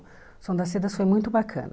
O Som das Cedas foi muito bacana.